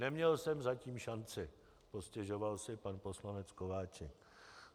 Neměl jsem zatím šanci, postěžoval si pan poslanec Kováčik.